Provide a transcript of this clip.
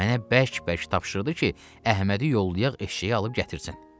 Mənə bərk-bərk tapşırdı ki, Əhmədi yollayaq eşşəyi alıb gətirsin.